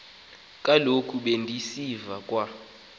kaloku bendisiva kwa